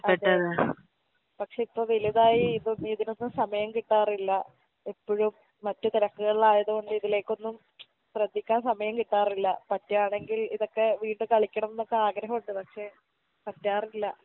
അതെ പക്ഷെ ഇപ്പൊ വെലുതായി ഇപ്പൊ ഈതിനൊന്നും സമയം കിട്ടാറില്ല എപ്പഴും മറ്റ് തെരക്ക്കൾലായത് കൊണ്ട് ഇതിലേക്കൊന്നും ശ്രെദ്ധിക്കാൻ സമയം കിട്ടാറില്ല പറ്റാണെങ്കിൽ ഇതൊക്കെ വീണ്ടും കളിക്കണംന്നൊക്കെ ആഗ്രഹൊണ്ട് പക്ഷെ പറ്റാറില്ല